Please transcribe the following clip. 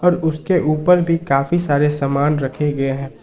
उसके ऊपर भी काफी सारे सामान रखे गए हैं।